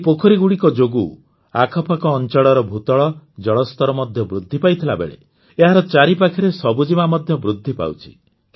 ଏହି ପୋଖରୀଗୁଡ଼ିକ ଯୋଗୁଁ ଆଖପାଖ ଅଂଚଳର ଭୂତଳ ଜଳସ୍ତର ମଧ୍ୟ ବୃଦ୍ଧି ପାଇଥିବା ବେଳେ ଏହାର ଚାରିପାଖରେ ସବୁଜିମା ମଧ୍ୟ ବୃଦ୍ଧି ପାଉଛି